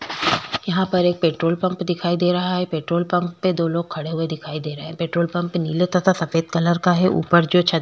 यहाँ पर एक पेट्रोल पम्प दिखाई दे रहा है पेट्रोल पम्प पे दो लोग खड़े दिखाई दे रहे है पेट्रोल पम्प नीले तथा सफ़ेद कलर का है ऊपर छत--